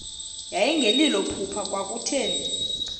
yayingelilo phupha kwakutheni